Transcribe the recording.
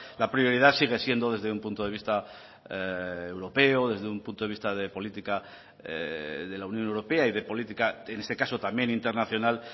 la prioridad sigue siendo desde un punto de vista europeo desde un punto de vista de política de la unión europea y de política en este caso también internacional